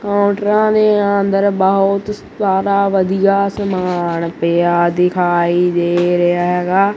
ਪੋਟਰਾਂ ਦੇ ਅੰਦਰ ਬਹੁਤ ਸਾਰਾ ਵਧੀਆ ਸਮਾਨ ਪਿਆ ਦਿਖਾਈ ਦੇ ਰਿਹਾ ਹੈਗਾ।